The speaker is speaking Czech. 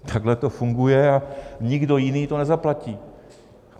Takhle to funguje a nikdo jiný to nezaplatí.